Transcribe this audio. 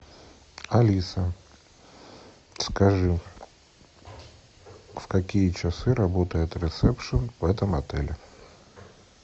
алиса скажи в какие часы работает ресепшен в этом отеле